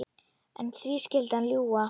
En því skyldi hann ljúga?